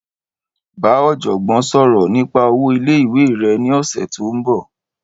Bá ọ̀jọ̀gbọ́n sọ̀rọ̀ nípa owó ilé-ìwé rẹ ní ọ̀sẹ̀ tó ń bọ̀.